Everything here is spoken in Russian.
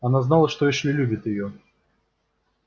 она знала что эшли любит её